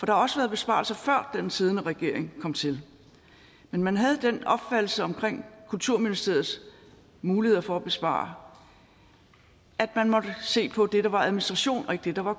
har også været besparelser før den siddende regering kom til men man havde den opfattelse omkring kulturministeriets muligheder for at spare at man måtte se på det der var administration og ikke det der var